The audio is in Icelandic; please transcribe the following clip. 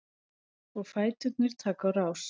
Og fæturnir taka á rás.